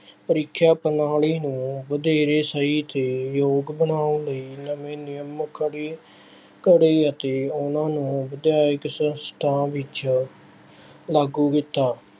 ਪ੍ਰੀਖਿਆ ਪ੍ਰਣਾਲੀ ਨੂੰ ਵਧੇਰੇ ਸਹੀ ਅਤੇ ਯੋਗ ਬਣਾਉਣ ਲਈ ਨਵੇਂ ਨਿਯਮ ਘੜੇ, ਘੜੇ ਅਤੇ ਉਹਨਾ ਨੂੰ ਵਿੱਦਿਅਕ ਸੰਸਥਾ ਵਿੱਚ ਲਾਗੂ ਕੀਤਾ।